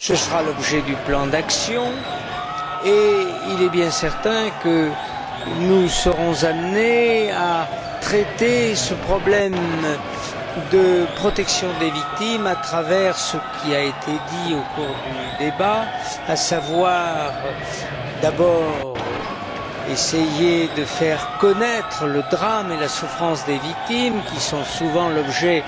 Ce sera l'objet du plan d'action, et il est bien certain que nous serons amenés à traiter ce problème de protection des victimes en tenant compte de ce qui a été dit au cours du débat, à savoir tout d'abord essayer de faire connaître le drame et la souffrance des victimes, qui sont souvent l'objet